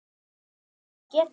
En ég get það ekki.